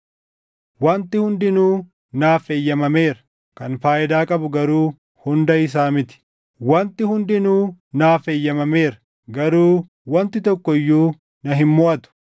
“Wanti hundinuu naaf eeyyamameera;” kan faayidaa qabu garuu hunda isaa miti; “Wanti hundinuu naaf eeyyamameera;” garuu wanti tokko iyyuu na hin moʼatu.